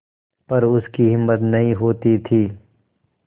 पर उसकी हिम्मत नहीं होती थी